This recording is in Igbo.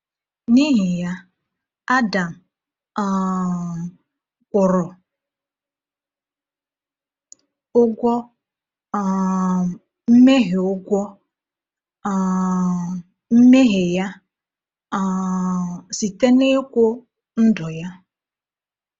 N’ihi ya, Adam um kwụrụ ụgwọ um mmehie ụgwọ um mmehie ya um site n’ịkwụ ndụ ya.